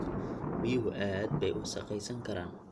Biyuhu aad bay u wasakhaysan karaan.